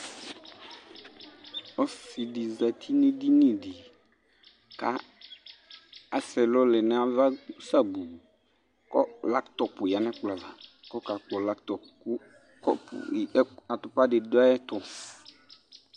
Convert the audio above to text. Ɔsɩdɩ zati n'edini dɩ ka asɛ ɛlɔ lɛ n'ava sabuu k'atʋkʋ lɛ n'ɛkplɔ ava k'ɔkakpɔ latʋ kɔpʋ atʋpa dɩ dʋ ayɛtʋ ,